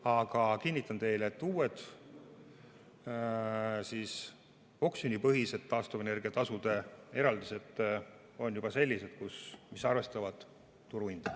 Aga kinnitan teile, et uued, oksjonipõhised taastuvenergia tasu eraldised on juba sellised, mis arvestavad turuhinda.